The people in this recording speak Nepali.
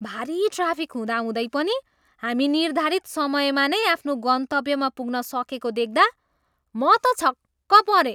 भारी ट्राफिक हुँदाहुँदै पनि हामी निर्धारित समयमा नै आफ्नो गन्तव्यमा पुग्न सकेको देख्दा म त छक्क परेँ।